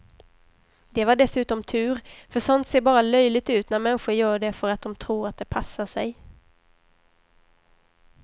Det var dessutom tur, för sånt ser bara löjligt ut när människor gör det för att de tror att det passar sig.